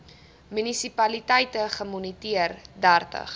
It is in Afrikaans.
munisipaliteite gemoniteer dertig